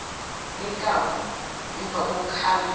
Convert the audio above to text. benkawu ngemva kokukhala